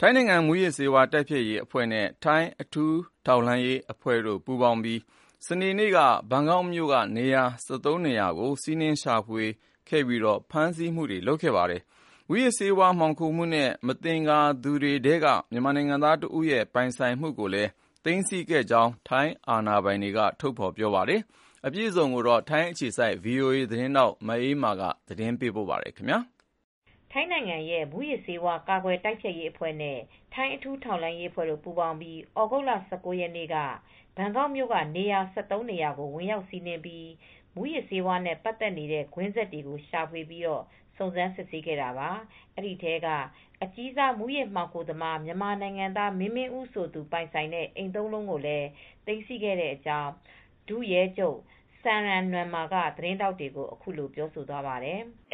ထိုင်းနိုင်ငံ မူးယစ်ဆေးဝါး တိုက်ဖျက်ရေးအဖွဲ့နဲ့ ထိုင်းအထူးထောက်လှမ်းရေးအဖွဲ့တို့ ပူးပေါင်းပြီး စနေနေ့က ဘန်ကောက်မြို့ နေရာ ၁၃ ခုကို စီးနင်းရှာဖွေခဲ့ပြီး ဖမ်းဆီးမှုတွေလုပ်ခဲ့ပါတယ်။ မူးယစ်ဆေးဝါး မှောင်ခိုမှုနဲ့ မသင်္ကာသူတွေထဲက မြန်မာနိုင်ငံသား တဦးရဲ့ ပိုင်ဆိုင်မှုတွေကို သိမ်းဆည်းခဲ့ကြောင်းလည်း ထိုင်းအာဏာပိုင်တွေက ပြောပါတယ်။ အပြည့်အစုံကို ဗွီအိုအေမြန်မာပိုင်း သတင်းထောက် မအေးအေးမာ သတင်းပေးပို့ထားပါတယ်။ ထိုင်းနိုင်ငံရဲ့ မူးယစ်ဆေးဝါးကာကွယ်တိုက်ဖျက်ရေးအဖွဲ့နဲ့ ထိုင်းအထူးထောက်လှမ်းရေးအဖွဲတို့ ပူးပေါင်းပြီး သြဂုတ်လ၁၉ရက်နေ့က ဘန်ကောက်မြို့ကနေရာ ၁၃နေရာကိုဝင်ရောက်စီးနင်းပြီး မူးယစ်ဆေးဝါးနဲ့ ပတ်သက်နေတဲ့ ကွင်းဆက်တွေကိုရှာဖွေပြီး စုံစမ်းစစ်ဆေးခဲ့တာပါ။ အဲဒီထဲက အကြီးစား မူးယစ်မှောင်ခိုသမား မြန်မာနိုင်ငံသား မင်းမင်းဦး ဆိုသူ ပိုင်ဆိုင်တဲ့အိမ် ၃လုံးကိုလည်း သိမ်းဆည်းခဲ့တဲ့အကြောင်း ဒုရဲချုပ် စမ်ရမ် နွမ်မာSamran Nuanma သတင်းထောက်တွေကို အခုလိုပြောသွားပါတယ်။ "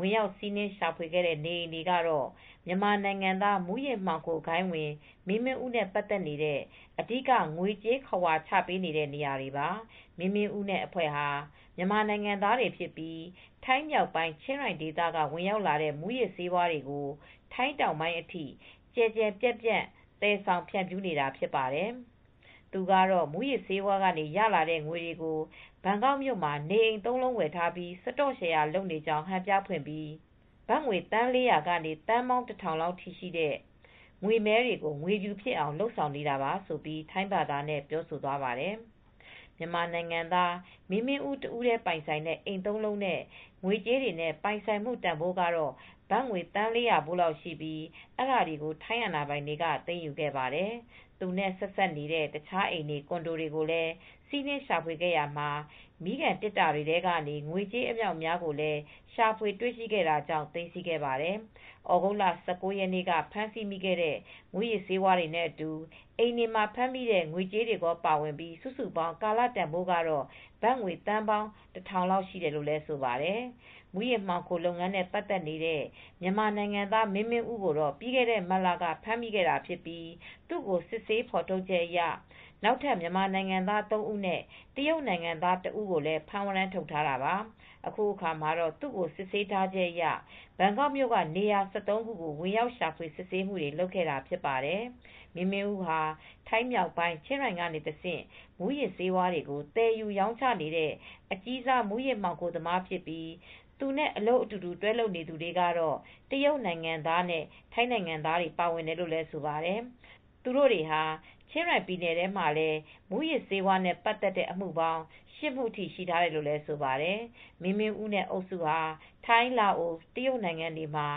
ဝင်ရောက်စီးနင်းရှာဖွေခဲ့တဲ့ နေအိမ်တွေကတော့ မြန်မာနိုင်ငံသား မူးယစ်မှောင်ခိုဂိုဏ်းဝင် မင်းမင်းဦး နဲ့ ပါတ်သက်နေတဲ့ အဓိကငွေကြေး ခဝါချပေးတဲ့နေရာတွေပါ။ မင်းမင်းဦးနဲ့ အဖွဲ့ဟာ မြန်မာနိုင်ငံသားဖြစ်ပြီး ထိုင်းမြောက်ပိုင်း ချင်းရိုင် ဒေသက ဝင်ရောက်လာတဲ့ မူးယစ်ဆေးဝါးတွေကို ထိုင်းတောင်ပိုင်း အထိ အကြီးအကျယ် သယ်ဆောင် ဖြန့်ဖြူးနေတာဖြစ်ပါတယ်။ သူကတော့ မူးယစ်ဆေးဝါးနဲ့ ရလာတဲ့ငွေတွေကို ဘန်ကောက်မြို့မှာ နေအိမ်သုံးလုံးဝယ်ထားပြီး စတော့ရှယ်ရာလုပ်ကြောင်း ဟန်ပြဖွင့်ပြီး ဘတ်ငွေ သန်း၄၀၀ ကနေ သန်းပေါင်း၁၀၀၀ အထိရှိတဲ့ ငွေမဲတွေကို ငွေဖြူဖြစ်လာအောင်လုပ်ဆောင်နေတာပါဆိုပြီး ထိုင်းဘာသာနဲ့ ပြောဆိုသွားပါတယ်။ မြန်မာနိုင်ငံသား မင်းမင်းဦးတဦးတည် းပိုင်ဆိုင်တဲ့ အိမ်၃လုံးနဲ့ ငွေကြေးတွေနဲ့ ပိုင်ဆိုင်မူ့ တန်ဖိုးကတော့ ဘတ်ငွေ သန်း၄၀၀ဖိုးလောက်ရှိပြီး အဲဒါတွေကို ထိုင်းအာဏာပိုင်တွေက သိမ်းယူခဲ့တာပါ ။ သူနဲ့ဆက်စပ်နေတဲ့ တခြားအိမ်တွေ ကွန်ဒိုတွေကို လည်းစီးနင်းရှာဖွေခဲ့ရာမှာ မီးခံသေတ္တာထဲကနေ ငွေကြေး အမြောက်အများကိုလည် းရှာဖွေတွေ့ ရှိတာကြောင့် သိမ်းဆည်းခဲ့ပါတယ်။ သြဂုတ်လ၁၉ရက်နေ့ ကဖမ်းဆီးမိတဲ့ မူးယစ်ဆေးဝါးတွေနဲ့အတူ အိမ်တွေမှာ ဖမ်းမိတဲ့ ငွေကြေးတွေကော ပါဝင်ပြီး စုစုပေါင်း ကာလတန်ဖိုးကတော့ဘတ်ငွေ သန်း၁၀၀၀ လောက် ရှိတယ်လို့ဆိုပါတယ်။ မူးယစ်မှောင်ခိုလုပ်ငန်းနဲ့ ပတ်သက်နေတဲ့ မြန်မာနိုင်သား မင်းမင်းဦး ကို ပြီးခဲ့တဲ့မတ်လက ဖမ်းမိခဲ့တာဖြစ်ပြီး သူကို စစ်ဆေးဖေါ်ထုတ်ချက်အရ နောက်ထပ်မြန်မာနိုင်ငံသားသုံးဦးနဲ့ တရုပ်နိုင်ငံသားတဦးကိုဖမ်းဝရမ်းထုတ်ထားတာပါ ။ အခုအခါမှာလည်း သူကိုစစ်ဆေးထားချက်အရ ဘန်ကောက်မြို့က နေရာ၁၃ခုကို ဝင်ရောက်ရှာဖွေစစ်ဆေးမူတွေလုပ်ခဲ့တာဖြစ်ပါတယ်။ မင်းမင်းဦးဟာ ထိုင်းမြောက်ပိုင် းချင်းရိုင်တဆင့် မူးယစ်ဆေးဝါးတွေကို သယ်ယူရောင်းချနေတဲ့ အကြီးစား မူးယစ်မှောင်ခိုသမားဖြစ်ပြီး သူနဲ့အလုပ် အတူတူတွဲလုပ်နေသူတွေကတော့ တရုတ်နိုင်ငံသားနဲ့ ထိုင်းနိုင်ငံသားတွေ ပါဝင်တယ်လို့လည်းဆိုပါတယ်။ သူတို့ဟာ ချင်းရိုင်ပြည်နယ်ထဲမှာလည်း မူးယစ်ဆေးဝါးနဲ့ ပတ်သက်တဲ့အမှုပေါင်း ၈မူရှိထားတယ်လို့ လည်းဆိုပါတယ် ။ မင်းမင်းဦးနဲ့အုပ်စုဟာ ထိုင်း လာအိုဝ် တရုတ်နိုင်ငံတွေမှာ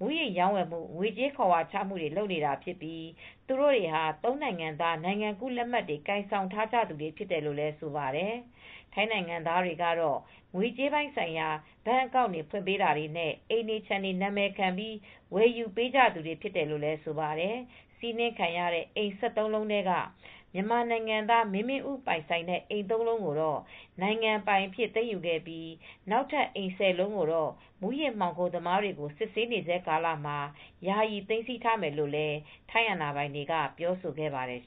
မူးယစ်ရောင်းဝယ်မူ့ ငွေကြေးခဝါချမူတွေလုပ်နေတာဖြစ်ပြီး သူတိုတွေဟာ ၃နိုင်ငံသား နိုင်ငံကူးလက်မှတ်တွေ ကိုင်ဆောင်ထားကြသူတွေဖြစ်တယ်လို့လည်းဆိုပါတယ် ။ ထိုင်းနိုင်ငံသားတွေကတော့ ငွေကြေးပိုင်းဆိုင်ရာ ဘဏ်အကောင့်တွေ ဖွင့်ပေးတာတွေနဲ့ အိမ်တွေ ခြံတွေ နံမည်ခံပြီးဝယ်ယူပေးကြရတဲ့သူတွေဖြစ်တယ်လို့လည်းဆိုပါတယ် ။ စီးနင်းခံရတဲ့ အိမ်၁၃လုံးထဲက မြန်မာနိုင်ငံသား မင်းမင်းဦးပိုင်ဆိုင်တဲ့ အိမ်၃လုံးကိုတော့ နိုင်ငံပိုင်အဖြစ်သိမ်းယူခဲ့ပြီး နောက်ထပ် အိမ်၁၀လုံးကိုတော့ မူယစ်မှောင်ခိုမူတွေကို စစ်ဆေးဆဲကာလမှာ ယာယီသိမ်းဆည်းထားမယ်လို့လည်း ထိုင်းအာဏာပိုင်တွေက ပြောဆိုခဲ့ပါတယ်